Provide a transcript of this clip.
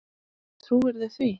Trúirðu því ekki?